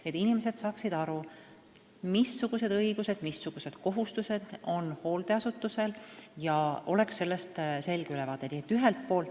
Tähtis on, et inimesed saaksid aru, missugused õigused ja missugused kohustused on hooldeasutusel ning et neil oleks sellest selge ülevaade.